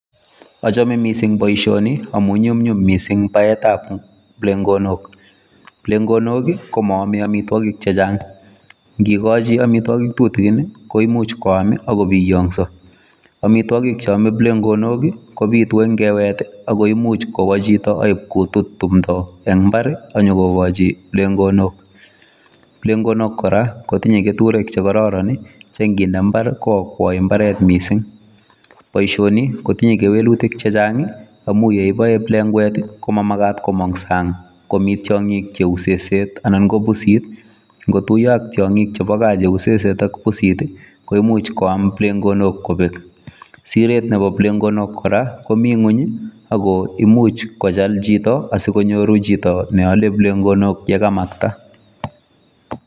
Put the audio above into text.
Achame mising' boisioniamun nyumnyum mising baetab plegok. Plegok komoame amitwogik chechang', ngigochi amitwogik tutikin koimuch koam ak ko biyoso. Amitwogik ab plegok kobitu en ngwet ago imuch kowo chito ak kotut timdo en mbar akkonyo kogochi plegok. Plegok kora kotinye keturek che kororon che nginde mbar koakwai mbaret mising'. Boisioni kotinye kewelutik chechang amun ye iboe plekwet komamagat komong sang komi tiong'ik cheu seset anan ko pusit. Ngotuiyo ak tyong'ik chebo gaa cheu seset ak pusit, koimuch koam plegok kobek. Siret nebo plegok kora komi ng'weny ago imuch kochal chito asikonyoru chito ne ole plegok ole kamakta.